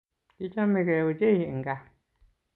Kichamegei ochei eng kaa